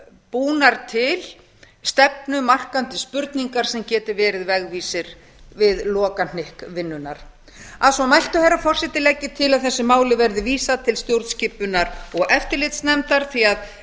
búnar til stefnumarkandi spurningar sem geti verið vegvísir við lokahnykk vinnunnar að svo mæltu herra forseti legg ég til að þessu máli verði vísað til stjórnskipunar og eftirlitsnefndar því